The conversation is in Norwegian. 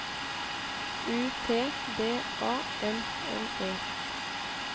U T D A N N E